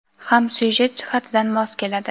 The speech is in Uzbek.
ham syujet jihatidan mos keladi.